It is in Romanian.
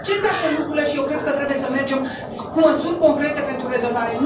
Deci acestea sunt lucrurile și eu cred că trebuie să mergem cu măsuri concrete pentru rezolvare.